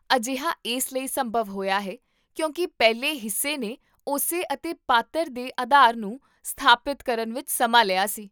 ਅਜਿਹਾ ਇਸ ਲਈ ਸੰਭਵ ਹੋਇਆ ਹੈ ਕਿਉਂਕਿ ਪਹਿਲੇ ਹਿੱਸੇ ਨੇ ਉਸੇ ਅਤੇ ਪਾਤਰ ਦੇ ਆਧਾਰ ਨੂੰ ਸਥਾਪਿਤ ਕਰਨ ਵਿੱਚ ਸਮਾਂ ਲਿਆ ਸੀ